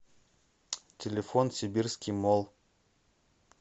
телефон сибирский молл